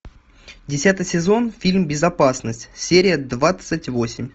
десятый сезон фильм безопасность серия двадцать восемь